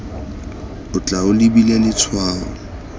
o tla o lebile letshwao